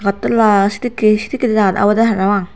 agattala sedekkey sedekkey jagat obwdey parapang.